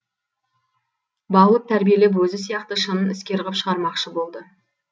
баулып тәрбиелеп өзі сияқты шын іскер ғып шығармақшы болды